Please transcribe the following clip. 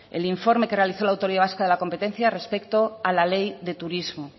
el informe que realizó la autoridad vasca de la competencia respecto a la ley de turismo